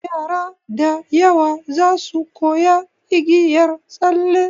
Yara da yawa zasu koya igiyar tsalle.